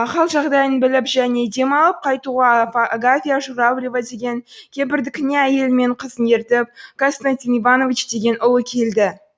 хал жағдайын біліп және демалып қайтуға агафья журавлева деген кемпірдікіне әйелі мен қызын ертіп константин иванович деген ұлы келді